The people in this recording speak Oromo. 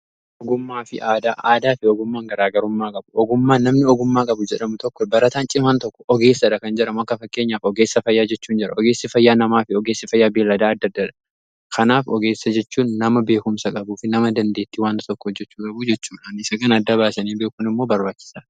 Ogummaa fi aadaa, aadaa fi ogummaan garaa garummaa qabu ogummaan namni ogummaa qabu jedhamu tokko barataan cimaan tokko ogeessadha kan jedhamu akka fakkeenyaaf ogeessa fayyaa jechuu in jira ogeessi fayyaa namaa fi ogeessi fayyaa beelladaa adda addadha. Kanaaf ogeessa jechuun nama beekumsa qabu fi nama dandeettii waan tokko hojjehuu qabuu jechuudha. Isa kan adda baasanii beekuun immoo barbaachisa.